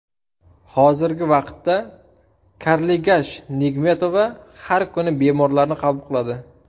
Hozirgi vaqtda Karligash Nigmetova har kuni bemorlarni qabul qiladi.